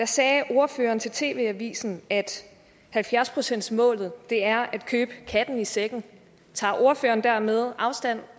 sagde ordføreren til tv avisen at halvfjerds procentsmålet er at købe katten i sækken tager ordføreren dermed afstand